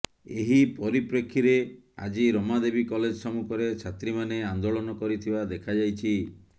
ଏହି ପରିପ୍ରେକ୍ଷୀରେ ଆଜି ରମାଦେବୀ କଲେଜ ସମ୍ମୁଖରେ ଛାତ୍ରୀମାନେ ଆନ୍ଦୋଳନ କରିଥିବା ଦେଖାଯାଇଛି